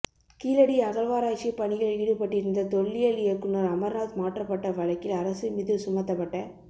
கீழடி அகழ்வாராய்ச்சி பணியில் ஈடுபட்டிருந்த தொல்லியல் இயக்குநர் அமர்நாத் மாற்றப்பட்ட வழக்கில் அரசு மீது சுமத்தப்பட்ட